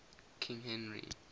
king henry